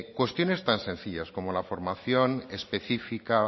cuestiones tan sencillas como la formación específica